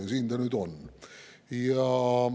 Ja siin ta nüüd on.